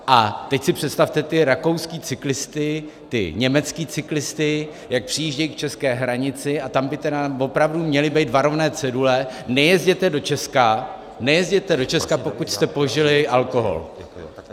A teď si představte ty rakouské cyklisty, ty německé cyklisty, jak přijíždějí k české hranici, a tam by tedy opravdu měly být varovné cedule: nejezděte do Česka, nejezděte do Česka, pokud jste požili alkohol.